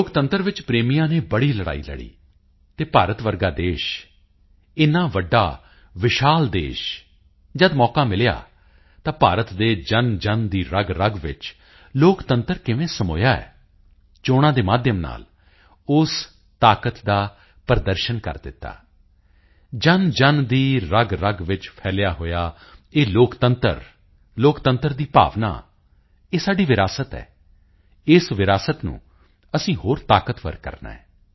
ਲੋਕਤੰਤਰ ਵਿੱਚ ਪ੍ਰੇਮੀਆਂ ਨੇ ਬੜੀ ਲੜਾਈ ਲੜੀ ਅਤੇ ਭਾਰਤ ਵਰਗਾ ਦੇਸ਼ ਇੰਨਾ ਵੱਡਾ ਵਿਸ਼ਾਲ ਦੇਸ਼ ਜਦ ਮੌਕਾ ਮਿਲਿਆ ਤਾਂ ਭਾਰਤ ਦੇ ਜਨਜਨ ਦੀ ਰਗਰਗ ਵਿੱਚ ਲੋਕਤੰਤਰ ਕਿਵੇਂ ਸਮੋਇਆ ਹੈ ਚੋਣਾਂ ਦੇ ਮਾਧਿਅਮ ਨਾਲ ਉਸ ਤਾਕਤ ਦਾ ਪ੍ਰਦਰਸ਼ਨ ਕਰ ਦਿੱਤਾ ਜਨਜਨ ਦੀ ਰਗਰਗ ਵਿੱਚ ਫੈਲਿਆ ਹੋਇਆ ਇਹ ਲੋਕਤੰਤਰ ਦਾ ਭਾਵ ਇਹ ਸਾਡੀ ਵਿਰਾਸਤ ਹੈ ਇਸ ਵਿਰਾਸਤ ਨੂੰ ਅਸੀਂ ਹੋਰ ਤਾਕਤਵਰ ਕਰਨਾ ਹੈ